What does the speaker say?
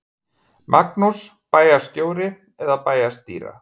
Magnús: Bæjarstjóri eða bæjarstýra?